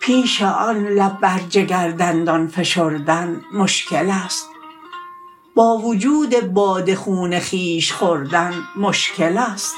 پیش آن لب بر جگر دندان فشردن مشکل است با وجود باده خون خویش خوردن مشکل است